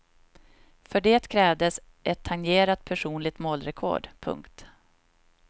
För det krävdes ett tangerat personligt målrekord. punkt